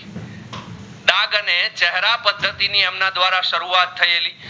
પદ્ધતિતિ ની એમના ધ્વારા સરુવત થયેલી